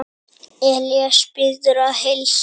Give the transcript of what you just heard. Elías biður að heilsa.